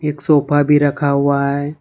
एक सोफा भी रखा हुआ है।